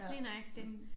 Lige nøjagtig